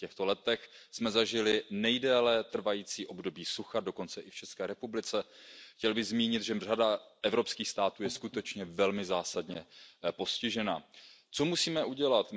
V těchto letech jsme zažili nejdéle trvající období sucha, dokonce i v České republice. Chtěl bych zmínit, že řada evropských států je skutečně velmi zásadně postižena. Co musíme udělat?